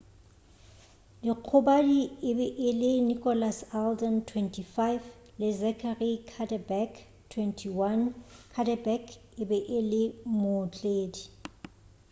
dikgobadi e be e le nicholas alden 25 le zachary cuddeback 21 cuddeback e be e le mootledi